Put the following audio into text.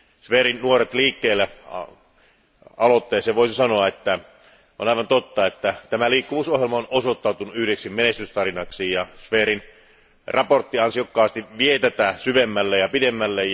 Zverin Nuoret liikkeellä aloitteesta voisi sanoa, että on aivan totta, että tämä liikkuvuusohjelma on osoittautunut yhdeksi menestystarinaksi, ja Zverin mietintö ansiokkaasti vie tätä asiaa syvemmälle ja pidemmälle.